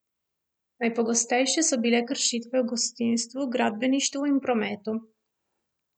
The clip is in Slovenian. Najpogostejše so bile kršitve v gostinstvu, gradbeništvu in prometu.